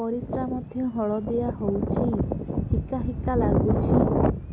ପରିସ୍ରା ମଧ୍ୟ ହଳଦିଆ ହଉଛି ହିକା ହିକା ଲାଗୁଛି